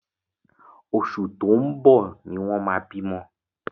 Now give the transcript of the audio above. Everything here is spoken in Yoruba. Oṣù tó ń bọ̀ ni wọ́n máa bímọ.